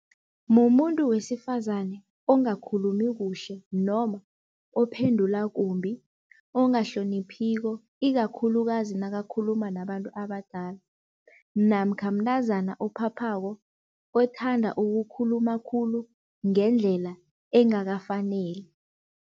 Mumuntu wesifazane ongakhulumi kuhle noma ophendula kumbi ongahloniphiko. Ikakhulukazi nakakhuluma nabantu abadala namkha mntazana ophaphako othanda ukukhuluma khulu ngendlela engakafaneli.